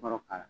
Kɔrɔ k'a la